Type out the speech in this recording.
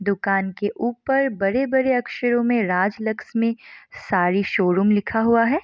दुकान के ऊपर बड़े-बड़े अक्षरों में राज लक्ष्मी साड़ी शोरूम लिखा हुआ है।